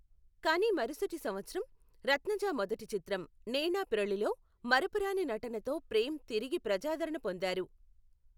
కానీ మరుసటి సంవత్సరం, రత్నజ మొదటి చిత్రం, నేనాపిరళిలో మరపురాని నటనతో ప్రేమ్ తిరిగి ప్రజాదరణ పొందారు.